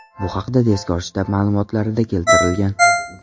Bu haqda tezkor shtab ma’lumotlarida keltirilgan .